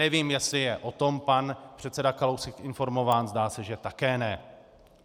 Nevím, jestli je o tom pan předseda Kalousek informován, zdá se, že také ne.